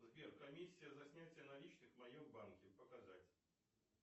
сбер комиссия за снятие наличных в моем банке показать